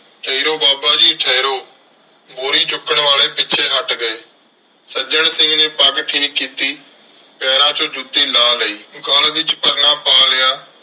ਠਹਿਰੋ ਬਾਬਾ ਜੀ ਠਹਿਰੋ। ਬੋਰੀ ਚੁੱਕਣ ਵਾਲੇ ਪਿੱਛੇ ਹੱਟ ਗਏ। ਸੱਜਣ ਸਿੰਘ ਨੇ ਪੱਗ ਠੀਕ ਕੀਤੀ ਪੈਰਾਂ ਚੋਂ ਜੁੱਤੀ ਲਾਹ ਲਈ। ਗਲ ਵਿੱਚ ਪਰਨਾ ਪਾ ਲਿਆ।